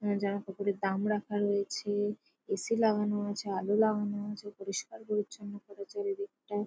আহ জামাকাপড়ের দাম রাখা রয়েছে-এ । এ.সি লাগানো আছে। আলো লাগানো আছে। পরিস্কার-পরিছন্ন করেছে ওদিকটা ।